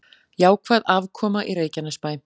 Jákvæð afkoma í Reykjanesbæ